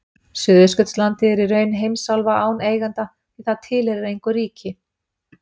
Suðurskautslandið er í raun heimsálfa án eiganda því það tilheyrir engu ríki.